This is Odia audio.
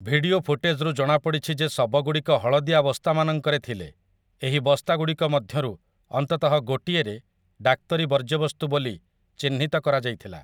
ଭିଡିଓ ଫୁଟେଜ୍ରୁ ଜଣାପଡିଛି ଯେ ଶବଗୁଡ଼ିକ ହଳଦିଆ ବସ୍ତାମାନଙ୍କରେ ଥିଲେ, ଏହି ବସ୍ତା ଗୁଡ଼ିକ ମଧ୍ୟରୁ ଅନ୍ତତଃ ଗୋଟିଏରେ 'ଡାକ୍ତରୀ ବର୍ଜ୍ୟବସ୍ତୁ' ବୋଲି ଚିହ୍ନିତ କରାଯାଇଥିଲା ।